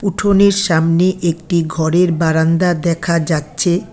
উঠোনের সামনে একটি ঘরের বারান্দা দেখা যাচ্ছে।